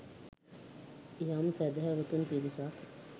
යම් සැදැහැවතුන් පිරිසක්